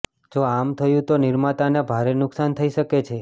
જો આમ થયું તો નિર્માતાને ભારે નુકસાન થઈ શકે છે